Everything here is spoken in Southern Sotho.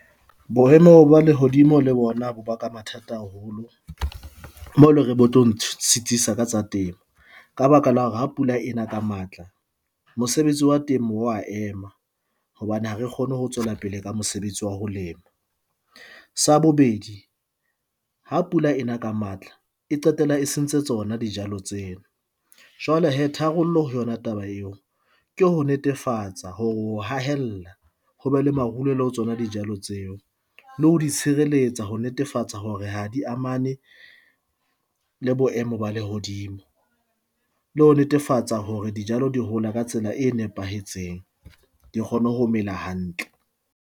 Boemo ba lehodimo le bona bo ba ka mathata haholo moo eleng hore bo tlo ntshitisa ka tsa temo, ka baka la hore ha pula ena ka matla mosebetsi wa temo wa ema hobane ha re kgone ho tswela pele ka mosebetsi wa ho lema. Sa bobedi, ha pula e na ka matla e qetella e sentse tsona dijalo tseo. Jwale hee tharollo ho yona taba eo ke ho netefatsa hore o hahella ho be le marulelo ho tsona dijalo tseo. Le ho di tshireletsa ho netefatsa hore ha di amane le boemo ba lehodimo, le ho netefatsa hore dijalo di hola ka tsela e nepahetseng, di kgone ho mela hantle.